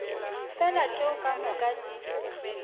fela tšeo ka moka di